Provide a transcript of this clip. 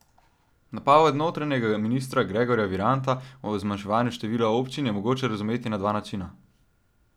Napoved notranjega ministra Gregorja Viranta o zmanjševanju števila občin je mogoče razumeti na dva načina.